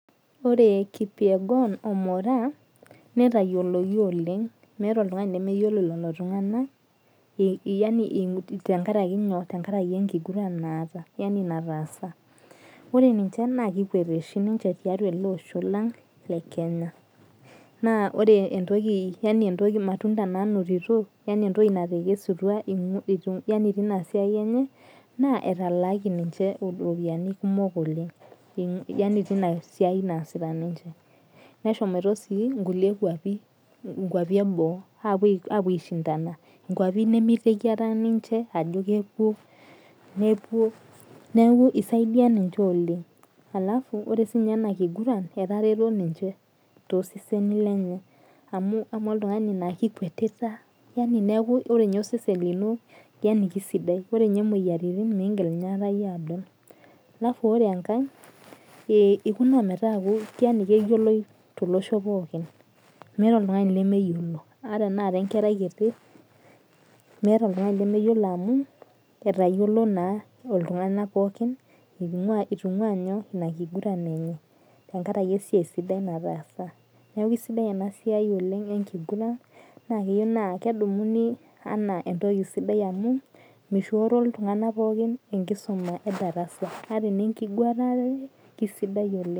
Ore Kipyegon o Moraa, nitayioloki oleng, meeta oltung'ani lemeyiolo lolo tung'anak, yani tenkaraki nyoo tenkaraki enkiguran naata yani nataasa. Ore ninche naa kekuet oshi ninche tiatua ele osho lang le Kenya. Naa ore entoki yani entoki matunda nanotito, yani entoki natekesutua yani tinasiai enye, na etalaaki ninche iropiyiani kumok oleng. Yani tinasiai naasita ninche. Neshomoito si nkulie kwapi, nkwapi eboo apuo aishindana. Nkwapi nimiteki akata ninche ajo kepuo, nepuo. Neeku isaidia ninche oleng. Alafu ore sinye enakiguran, etareto ninche toseseni lenye. Amu amaa oltung'ani la kikuetita yani neeku ore nye osesen lino, yani kisidai. Ore nye moyiaritin, migil inye aikata yie adol. Alafu ore enkae, ikuna metaa yani keyioloi tolosho pookin. Meeta oltung'ani lemeyiolo. Ata enaa kengerai kiti, meeta oltung'ani lemeyiolo amu, itayiolo naa iltung'anak pookin, itung'ua nyoo inakiguran enye. Tenkaraki esiai sidai nataasa. Neeku isidai enasiai oleng enkiguran, na keyieu naa kedumuni anaa entoki sidai amu, mishooro iltung'anak pookin enkisuma edarasa. Ata enenkigurare, kisidai oleng.